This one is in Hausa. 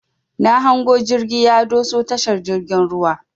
Na hango jirgi ya doso tashar jirgin ruwan.